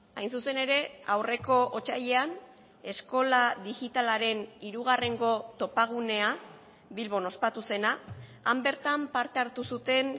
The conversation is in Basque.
hain zuzen ere aurreko otsailean eskola digitalaren hirugarrengo topagunea bilbon ospatu zena han bertan parte hartu zuten